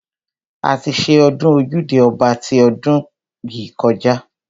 A ti ṣe ọdún ojúde ọba ti ọdún yìí kọjá.